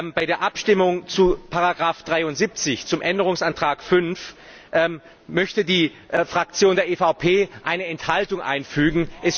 Bei der Abstimmung zu Ziffer 73, zum Änderungsantrag 5, möchte die Fraktion der EVP eine Enthaltung einfügen.